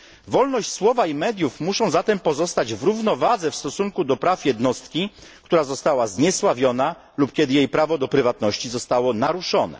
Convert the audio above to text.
Wolność słowa i mediów musi, zatem pozostać w równowadze w stosunku do praw jednostki, która została zniesławiona lub kiedy jej prawo do prywatności zostało naruszone.